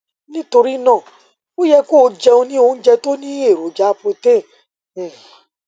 nítorí náà o yẹ kó o jẹun ní oúnjẹ tó ní èròjà protein um